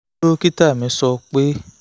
dókítà mi sọ pé